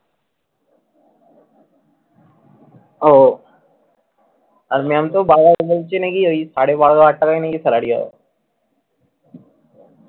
ও আর ma'am তো বারবার বলছে নাকি ঐ সাড়ে বারো হাজার টাকা নাকি salary হবে।